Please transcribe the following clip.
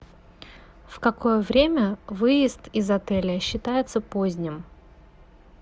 в какое время выезд из отеля считается поздним